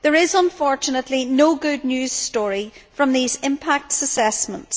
There is unfortunately no good news story from these impact assessments.